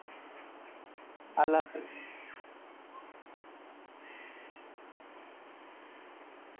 আল্লাহ হাফিস।